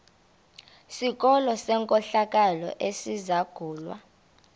sikolo senkohlakalo esizangulwa